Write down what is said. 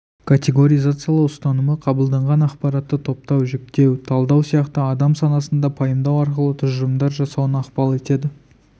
категоризациялау ұстанымы қабылданған ақпаратты топтау жіктеу талдау сияқты адам санасында пайымдау арқылы тұжырымдар жасауына ықпал етеді